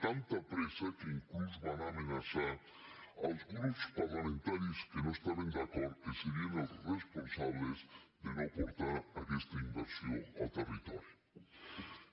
tanta pressa que inclús van amenaçar els grups par·lamentaris que no hi estaven d’acord que serien els responsables de no portar aquesta inversió al territo·ri